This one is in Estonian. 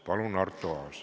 Palun, Arto Aas!